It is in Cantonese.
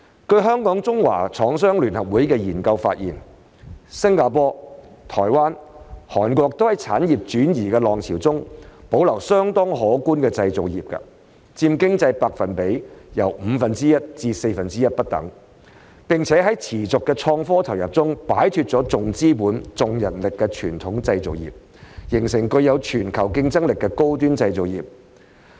據香港中華廠商聯合會的研究發現，新加坡、台灣、韓國都在產業轉移的浪潮中保留相當可觀的製造業，佔經濟比重由五分之一至四分之一不等，並且在持續的科創投入中擺脫重資本重人力的傳統製造業，形成具有全球競爭力的高端製造業。